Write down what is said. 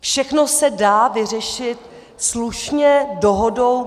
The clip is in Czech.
Všechno se dá vyřešit slušně dohodou.